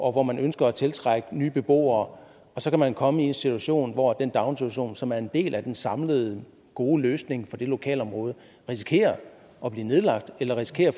og hvor man ønsker at tiltrække nye beboere og så kan man komme i en situation hvor den daginstitution som er en del af den samlede gode løsning for det lokalområde risikerer at blive nedlagt eller risikerer